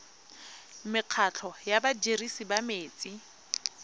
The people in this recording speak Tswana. mekgatlho ya badirisi ba metsi